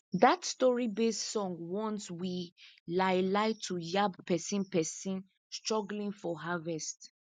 dat storybased song warns we lai lai to yab pesin pesin struggling for harvest